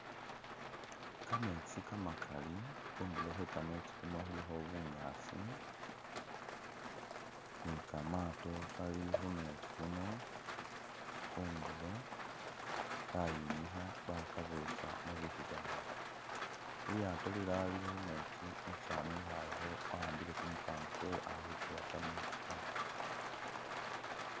Ka metsi kamakali khundulo khwe kametsi khuno khulikho bunyaasi ni kamato kali khumetsi khuno khundulo kayimikha bakabetsa mubibawo, li lyato lilala lili khumetsi umusani wikhayekho wa'ambile kumukango kwe ali khukuwa kametsi kano.